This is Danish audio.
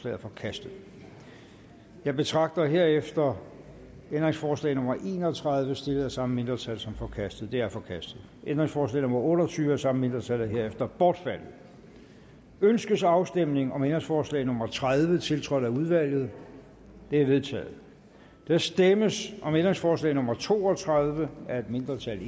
er forkastet jeg betragter herefter ændringsforslag nummer en og tredive stillet af det samme mindretal som forkastet det er forkastet ændringsforslag nummer otte og tyve af samme mindretal er herefter bortfaldet ønskes afstemning om ændringsforslag nummer tredive tiltrådt af udvalget det er vedtaget der stemmes om ændringsforslag nummer to og tredive af et mindretal